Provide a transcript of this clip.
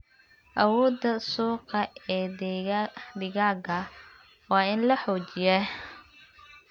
Awoodda suuqa ee digaagga waa in la xoojiyaa.